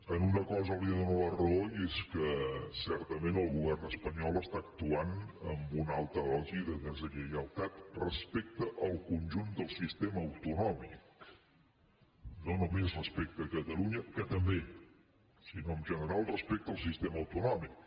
en una cosa li dono la raó i és que certament el govern espanyol actua amb una alta dosi de deslleialtat respecte al conjunt del sistema autonòmic no només respecte a catalunya que també sinó en general respecte al sistema autonòmic